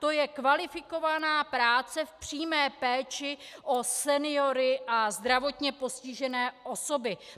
To je kvalifikovaná práce v přímé péči o seniory a zdravotně postižené osoby.